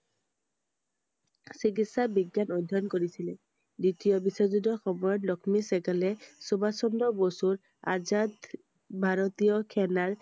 চিকিৎসা বিজ্ঞান অধ্যয়ন কৰিছিল I দ্বিতীয় বিশ্বযুদ্ধৰ সময়ত লক্ষ্মী চেহ্গালে সুভাষ চন্দ্ৰ বসু্ৰ আজাদ ভাৰতীয় সেনাৰ